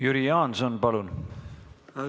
Jüri Jaanson, palun!